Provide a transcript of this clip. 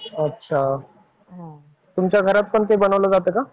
अच्छा. तुमच्या घरात पण ते बनवल्या जात का?